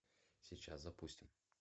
сейчас запустим